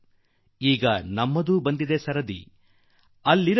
ಸರದಿ ನಮ್ಮದು ಈ ಸಾರಿ ಆಗುವಂತೆ